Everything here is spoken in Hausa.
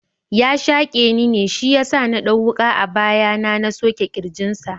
Ya shaƙe ni ne Shiyasa na ɗau wuka a baya na na soke kirjin sa.